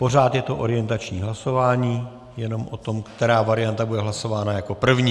Pořád je to orientační hlasování, jenom o tom, která varianta bude hlasována jako první.